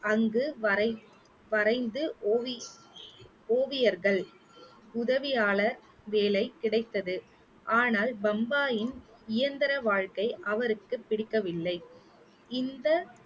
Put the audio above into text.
அங்கு வரைந்~ வரைந்து ஓவி~ ஓவியர்கள் உதவியாளர் வேலை கிடைத்தது ஆனால் பம்பாயின் இயந்திர வாழ்க்கை அவருக்கு பிடிக்கவில்லை இந்த